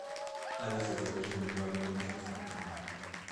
алиса закажи мне два лимона с доставкой на дом